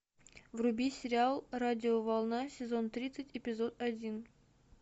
вруби сериал радиоволна сезон тридцать эпизод один